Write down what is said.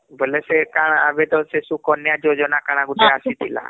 ବୋଲେ ସେ କାଣା ଆବେ ତ ସେ ସୁକନ୍ୟା ଯୋଜନା କାଣା ଗୁଟେ ଆସିଥିଲା